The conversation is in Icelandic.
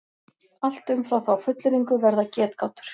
Allt umfram þá fullyrðingu verða getgátur.